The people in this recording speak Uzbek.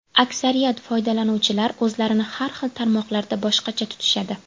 Aksariyat foydalanuvchilar o‘zlarini har xil tarmoqlarda boshqacha tutishadi.